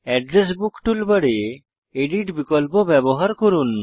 address book টুলবারে edit বিকল্প ব্যবহার করুন